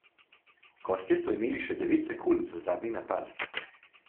Gostje so imeli še devet sekund za zadnji napad.